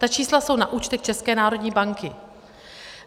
Ta čísla jsou na účtech České národní banky.